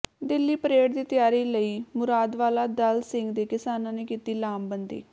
Delhi parade ਦੀ ਤਿਆਰੀ ਲਈ ਮੁਰਾਦਵਾਲਾ ਦਲ ਸਿੰਘ ਦੇ ਕਿਸਾਨਾਂ ਨੇ ਕੀਤੀ ਲਾਮਬੰਦੀ